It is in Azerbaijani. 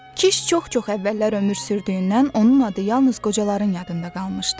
Kiş çox-çox əvvəllər ömür sürdüyündən onun adı yalnız qocaların yadında qalmışdı.